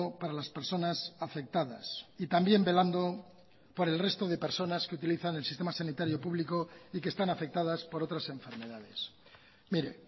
para las personas afectadas y también velando por el resto de personas que utilizan el sistema sanitario público y que están afectadas por otras enfermedades mire